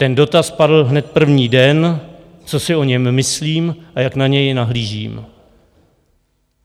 Ten dotaz padl hned první den, co si o něm myslím a jak na něj nahlížím.